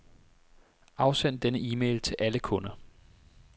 Afsend denne e-mail til alle kunder.